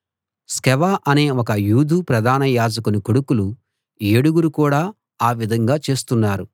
స్కెవ అనే ఒక యూదు ప్రధాన యాజకుని కొడుకులు ఏడుగురు కూడా ఆ విధంగా చేస్తున్నారు